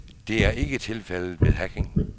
Det er ikke tilfældet ved hacking.